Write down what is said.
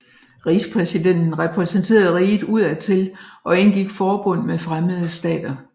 Rigspræsidenten repræsenterede riget udad til og indgik forbund med fremmede stater